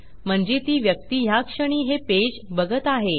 म्हणजे ती व्यक्ती ह्याक्षणी हे पेज बघत आहे